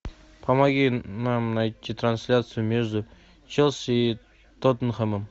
помоги нам найти трансляцию между челси и тоттенхэмом